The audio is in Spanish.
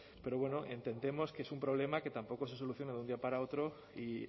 pero bueno entendemos que es un problema que tampoco se soluciona de un día para otro y